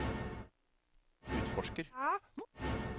utforsker